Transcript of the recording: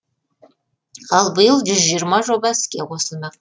ал биыл жүз жиырма жоба іске қосылмақ